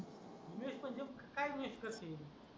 invest म्हणजे कुठं काय इन्वेस्ट करशील